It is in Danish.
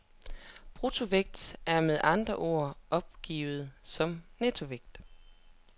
Bruttovægt er med andre ord opgivet som nettovægt.